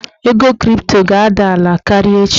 Ego kripto ga-ada ala karịa echi.